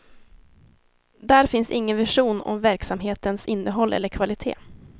Där finns ingen vision om verksamhetens innehåll eller kvalitet.